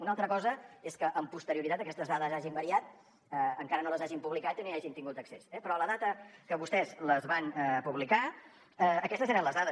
una altra cosa és que amb posterioritat aquestes dades hagin variat encara no les hagin publicat i no hi hàgim tingut accés eh però a la data que vostès les van publicar aquestes eren les dades